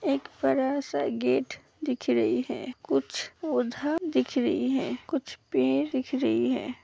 एक बड़ा सा गेट दिख रही है कुछ दिख रहे हैं कुछ पेड़ दिख रही है।